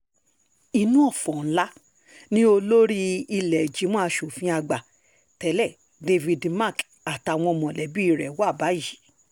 inú ọ̀fọ̀ ńlá ni olórí ìlẹ́ẹ̀jìmọ̀ aṣòfin àgbà tẹ̀lé david mark àtàwọn mọ̀lẹ́bí rẹ̀ wà báyìí